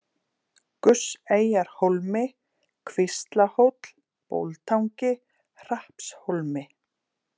Gusseyjarhólmi, Kvíslahóll, Bóltangi, Hrappshólmi